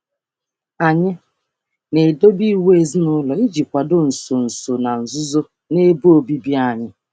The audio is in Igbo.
Anyị na-edobe iwu ezinụlọ um iji um iji dozie ịbụchaghị na nzuzo um n'ime ohere anyị na-ebikọ.